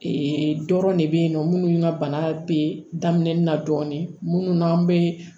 Ee dɔrɔn ne be yen nɔ minnu ka bana be daminɛ na dɔɔni munnu n'an bee